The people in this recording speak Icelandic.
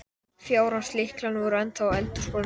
Fjárans lyklarnir voru ennþá á eldhúsborðinu.